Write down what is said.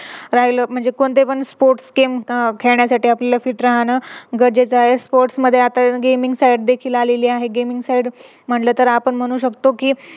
राहिलो म्हणजे कोणते पण Sports game खेळण्यासाठी आपल्याला Fit राहणं गरजेचं आहे. Sports मध्ये आता Gaming side देखील आलेली आहे. Gaming Side म्हणले तर आपण म्हणू शकतो कि